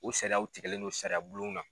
U sariyaw tigɛlen do sariya bulon na.